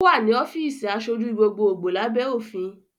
Ó wà ní ọ́fíìsì aṣojú gbogbogbo lábẹ́ òfin